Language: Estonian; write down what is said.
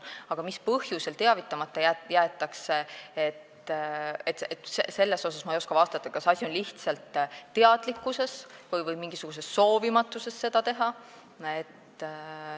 Aga mis põhjusel teavitamata jäetakse, selle kohta ma ei oska vastata, ma ei tea, kas asi on lihtsalt väheses teadlikkuses või soovimatuses seda teha.